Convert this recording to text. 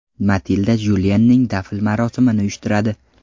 Matilda Juliyenning dafn marosimini uyushtiradi.